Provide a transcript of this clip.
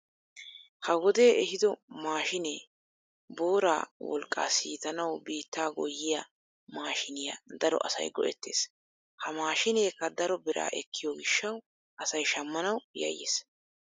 ha wodee eehido maashinee booraa wolqqaa siitanwu biittaa goyiyaa maashiniyaa daro asay go'ettees. ha mashineekka daro biraa ekkiyoo giishshawu asay shammanwu yayees.